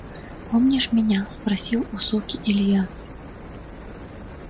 помнишь меня спросил у суки илья